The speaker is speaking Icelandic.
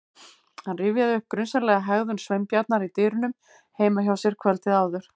Hann rifjaði upp grunsamlega hegðun Sveinbjarnar í dyrunum heima hjá sér kvöldið áður.